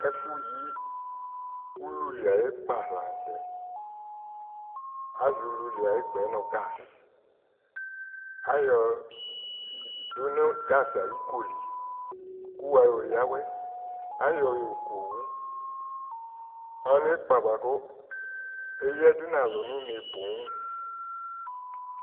Ɛfʋ yi ululi ay'ɩkpa la n'tɛ Àzɔ ululi ay'ɩkpa yɛ nʋ gaz k'ayɔ dʋ nʋ gaz ayili li kʋ wayɔ yǝ awɛ, ayɔ yɔku owu Ɔlɛ ɩkpa bʋa kʋ eyǝdʋ n'alʋ nʋ une pooo